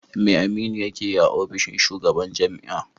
Me Aminu yake yi a ofishin shugaban jami'a?